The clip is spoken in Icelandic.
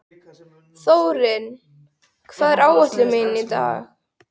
Þórinn, hvað er á áætluninni minni í dag?